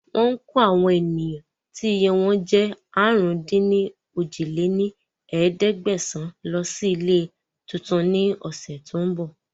Wọn kò àwọn ènìyàn tí iye wọn jẹ́ àrún-dín-ní-ojì lé ní ẹ̀ẹ́dẹ́gbẹ́sán Lọ síí ilé tuntun ni ọ̀sẹ̀ tòun bọ̀